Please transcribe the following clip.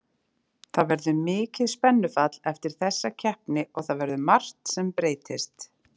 Það verður mikið spennufall eftir þessa keppni og það verður margt sem breytist.